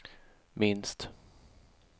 minst